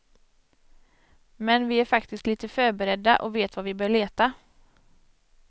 Men vi är faktiskt lite förberedda, och vet var vi bör leta.